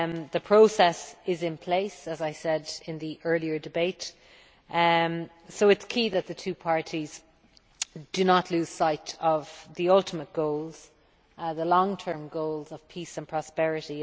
The process is in place, as I said in the earlier debate, so it is key that the two parties do not lose sight of the ultimate goals, the long term goals of peace and prosperity.